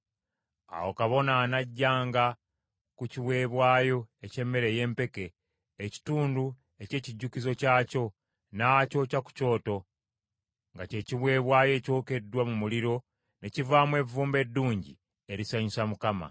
Awo kabona anaggyanga ku kiweebwayo eky’emmere ey’empeke, ekitundu eky’ekijjukizo kyakyo, n’akyokya ku kyoto, nga kye kiweebwayo ekyokeddwa mu muliro ne kivaamu evvumbe eddungi erisanyusa Mukama .